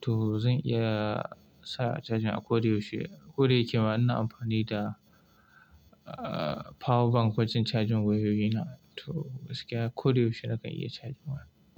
to zan iya sa cajin a ko da yaushe, ko da yake ma ina amfani da, uh, power bank wajen cajin wayoyi na to gaskiya ko da yaushe na kan iya cajin waya.